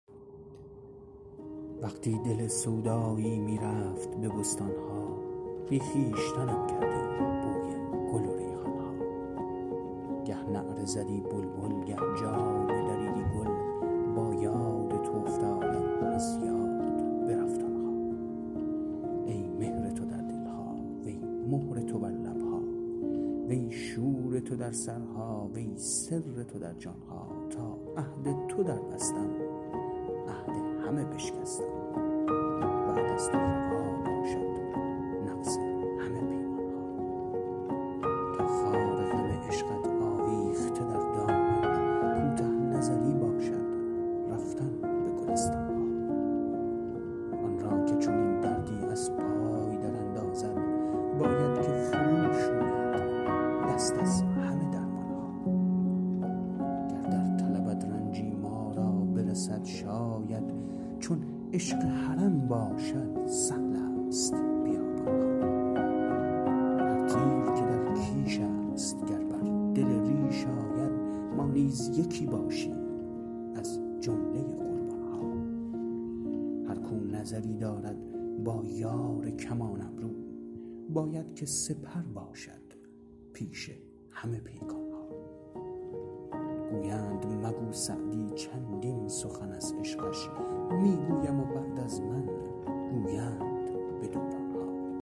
وقتی دل سودایی می رفت به بستان ها بی خویشتنم کردی بوی گل و ریحان ها گه نعره زدی بلبل گه جامه دریدی گل با یاد تو افتادم از یاد برفت آن ها ای مهر تو در دل ها وی مهر تو بر لب ها وی شور تو در سرها وی سر تو در جان ها تا عهد تو دربستم عهد همه بشکستم بعد از تو روا باشد نقض همه پیمان ها تا خار غم عشقت آویخته در دامن کوته نظری باشد رفتن به گلستان ها آن را که چنین دردی از پای دراندازد باید که فروشوید دست از همه درمان ها گر در طلبت رنجی ما را برسد شاید چون عشق حرم باشد سهل است بیابان ها هر تیر که در کیش است گر بر دل ریش آید ما نیز یکی باشیم از جمله قربان ها هر کاو نظری دارد با یار کمان ابرو باید که سپر باشد پیش همه پیکان ها گویند مگو سعدی چندین سخن از عشقش می گویم و بعد از من گویند به دوران ها